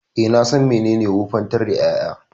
E, na san menene wofantar da ƴaƴa.